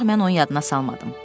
Ancaq mən onun yadına salmadım.